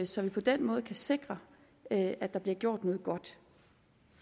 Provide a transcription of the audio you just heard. så vi på den måde kan sikre at der fortsat bliver gjort noget godt